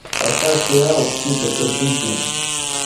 поставь сериал псы под прикрытием